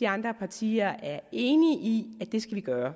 de andre partier er enige i at vi skal gøre